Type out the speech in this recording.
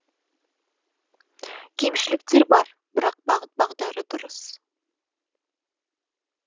кемшіліктер бар бірақ бағыт бағдары дұрыс